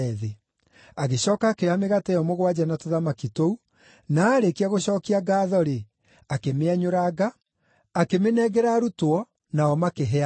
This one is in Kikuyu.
Agĩcooka akĩoya mĩgate ĩyo mũgwanja na tũthamaki tũu, na aarĩkia gũcookia ngaatho-rĩ, akĩmĩenyũranga, akĩmĩnengera arutwo nao makĩhe andũ.